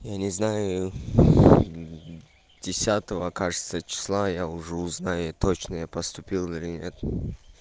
я не знаю десятого кажется числа я уже узнаю точно я поступил или нет